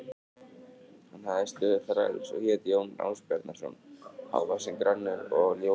Hann hafði stöðu þræls og hét Jón Ásbjarnarson, hávaxinn, grannur og ljós yfirlitum.